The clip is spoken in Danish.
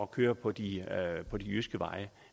køre på de jyske veje